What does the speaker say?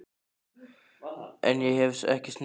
En ég hef ekki snert hann.